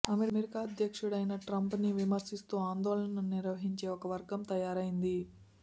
America అధ్యక్షుడైన ట్రంప్ని విమర్శిస్తూ ఆందోళనలు నిర్వహించే ఒక వర్గం తయారైంది